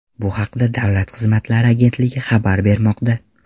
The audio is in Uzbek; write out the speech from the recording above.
Bu haqda Davlat xizmatlari agentligi xabar bermoqda .